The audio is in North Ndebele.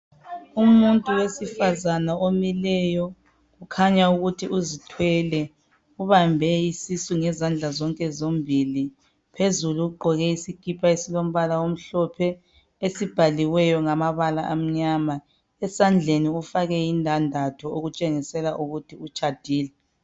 Umuntu wesifazana omileyo kukhanya ukuthi uzithwele ubambe isisu ngezandla zonke zombili. Phezulu ugqoke isikipa esilombala omhlophe esibhaliweyo ngamabala amnyama esandleni ufake indandatho okutshengisela ukuthi utshadile.